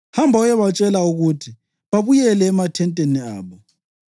Hamba uyebatshela ukuthi babuyele emathenteni abo.